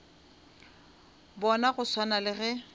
bona go swana le ge